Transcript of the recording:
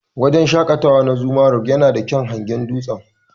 Wajen shaƙatawa na "Zuma rock " yana da kyaun hangen dutsen.